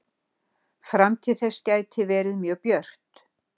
Framtíð þess gæti verið mjög björt.